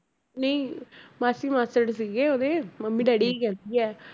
ਨਹੀਂ ਮਾਸੀ ਮਾਸੜ ਸੀਗੇ ਉਹਦੇ ਮੰਮੀ ਡੈਡੀ ਹੀ ਕਹਿੰਦੀ ਹੈ